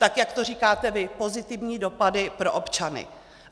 Tak jak to říkáte vy, pozitivní dopady pro občany.